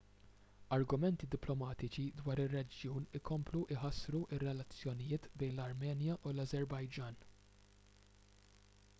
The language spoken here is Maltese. argumenti diplomatiċi dwar ir-reġjun ikomplu jħassru r-relazzjonijiet bejn l-armenja u l-ażerbajġan